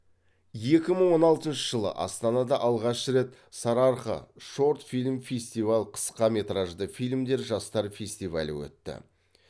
екі мың он алтыншы жылы астанада алғаш рет сарыарқа шорт фильм фестиваль қысқа метражды фильмдер жастар фестивалі өтті